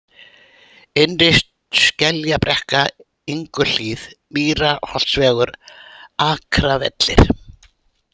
Innri-Skeljabrekka, Inguhlíð, Mýrarholtsvegur, Akravellir